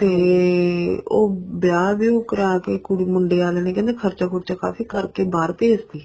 ਤੇ ਉਹ ਵਿਆਹ ਵਿਉਹ ਕਰਾ ਕੇ ਕੁੜੀ ਮੁੰਡਿਆਂ ਆਲੀਆਂ ਨੇ ਕਹਿੰਦੇ ਖਰਚਾ ਖੁਰਚਾ ਕਾਫ਼ੀ ਕਰਕੇ ਬਹਾਰ ਭੇਜ ਤੀ